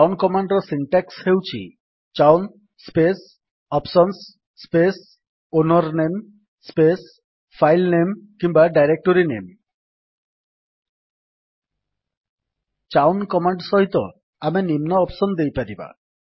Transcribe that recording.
chown command ର syntax ହେଉଛି chown space options space owner name space file name କିମ୍ୱା directory name chown command ସହିତ ଆମେ ନିମ୍ନ ଅପ୍ସନ୍ ଦେଇପାରିବା